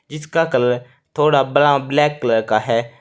इसका कलर थोड़ा ब्रा ब्लैक कलर का है।